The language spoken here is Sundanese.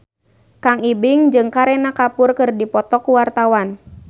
Kang Ibing jeung Kareena Kapoor keur dipoto ku wartawan